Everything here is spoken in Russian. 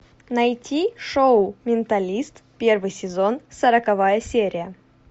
найти шоу менталист первый сезон сороковая серия